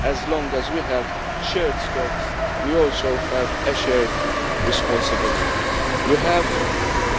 As long as we have shared stocks, we also have a shared responsibility. We have